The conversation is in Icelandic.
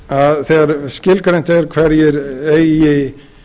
að þegar skilgreint er hverjir eigi